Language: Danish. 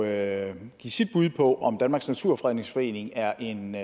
at give sit bud på om danmarks naturfredningsforening er en